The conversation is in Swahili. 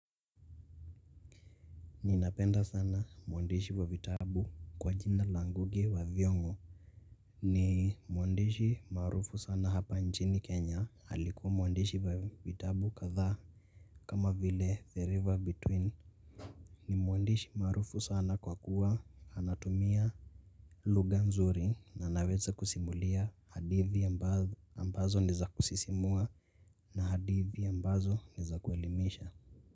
Ninapenda sana mwandishi wa vitabu kwa jina la Ngugi wa thiong'o. Ni mwandishi maarufu sana hapa nchini Kenya, alikuwa mwandishi wa vitabu kadhaa kama vile; the river between. Ni mwandishi maarufu sana kwa kuwa anatumia, lughaa nzuri na anaweza kusimulia hadithi ambazo ni zakusisimua. Na hadithi ambazo ni zakuelimisha.